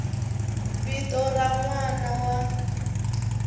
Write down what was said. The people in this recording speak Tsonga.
vito ra n wana wa